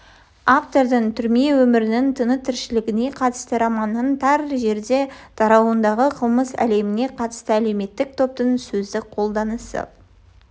автордың түрме өмірінің тынытіршілігіне қатысты романының тар жерде тарауындағы қылмыс әлеміне қатысты әлеуметтік топтың сөздік қолданысы